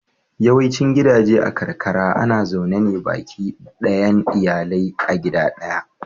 Yawaicin gidaje a karkara ana zaune ne baki ɗayan iyali a gida ɗaya.